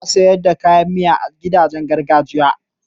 ana saida kayan Miya a gidajen gargajiya